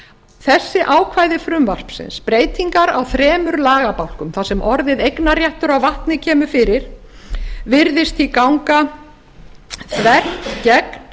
þessi ákvæði frumvarpsins breytingar á þremur lagabálkum þar sem orðin eignarréttur að vatni virðast því ganga gegn